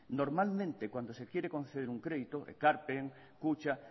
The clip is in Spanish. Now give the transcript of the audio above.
normalmente cuando se quiere conceder un crédito ekarpen kutxa